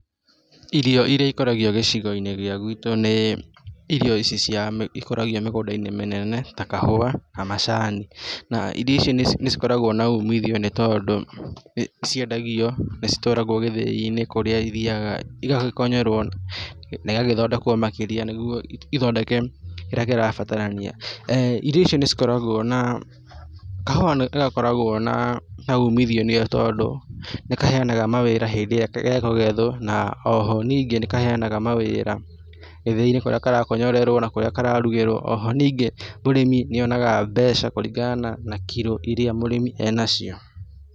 Irio irĩa ikũragio gĩcigo-inĩ gĩa gwitũ nĩ irio ici cia ikũragio mĩgũnda-inĩ mĩnene ta kahũa na macani, na irio ici nĩ cikoragwo na umiithio nĩ tondũ nĩ ciendagio, nĩ citwaragwo gĩthĩi-inĩ kũrĩa ithiaga ĩgagĩkonyorwo na ĩgagĩthondekwo makĩria nĩguo ithondeke kĩrĩa kĩrabatarania. Irio ici nĩ cikoragwo na kahũa nĩ gakoragwo na na umiithio nĩ tondũ nĩ kaheanaga mawĩra hĩndĩ irĩa gekũgethwo na oho ningĩ nĩ kaheanaga mawĩra ithĩi-inĩ kũrĩa karakonyorerwo na kũrĩa kararugĩrwo. Oho ningĩ mũrĩmi nĩ onaga mbeca kũringana na kiro irĩa mũrĩmi enacio.